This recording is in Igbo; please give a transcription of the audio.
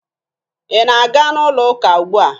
Ị na-aga n'ụlọụka ugbu a?